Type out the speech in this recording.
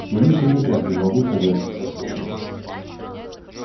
боюсь я никак не могу согласиться с вами